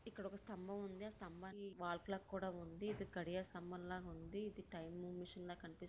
ఇక్కడ ఒక స్తంభం ఉంది. ఆ స్తంభానికి వాల్ క్లాక్ కూడా ఉంది. ఇది కడియ స్తంభంలా ఉంది. ఇది టైమ్ మిషన్ లా కనిపిస్తుంది.